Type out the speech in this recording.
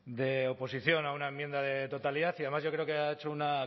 de oposición a una enmienda de totalidad y además yo creo que ha hecho una